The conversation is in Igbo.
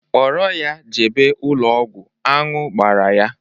Kpọrọ ya jebe ụlọ ọgwụ, aṅụ gbara ya!